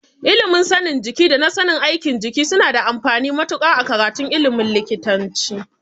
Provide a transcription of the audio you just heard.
Ilimin sanin jiki da na sanin aikin jiki suna da amfani matuƙa a karatun ilimin likitanci.